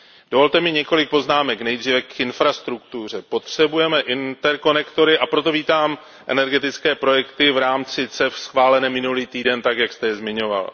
Dovolte mi několik poznámek. Nejdříve k infrastruktuře. Potřebujeme interkonektory, a proto vítám energetické projekty v rámci CEF schválené minulý týden tak, jak jste je zmiňoval.